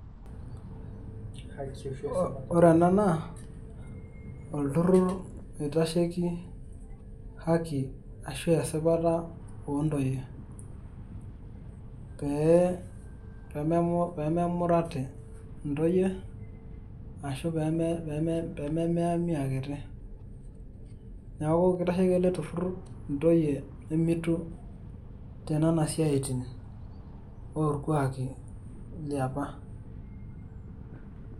Ore ena naa olturrur oitasheki haki ashu esipata oontoyie. Pee pememurati intoyie ashu peme pememeami akiti. Neeku kitasheki ele turrur intoyie nemitu tenena siaitin orkuaki liapa.